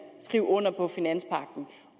skriver under på finanspagten